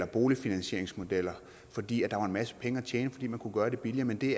boligfinansieringsmodeller fordi der var en masse penge at tjene fordi man kunne gøre det billigere men det